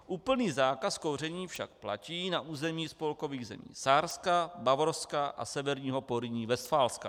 Úplný zákaz kouření však platí na území spolkových zemí Sárska, Bavorska a Severního Porýní-Vestfálska.